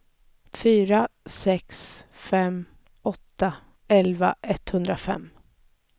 fyra sex fem åtta elva etthundrafem